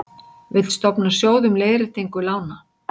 Vill stofna sjóð um leiðréttingu lána